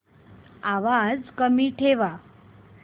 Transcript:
आवाज कमी ठेवा